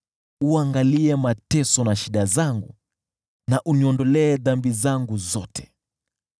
Uangalie mateso na shida zangu na uniondolee dhambi zangu zote.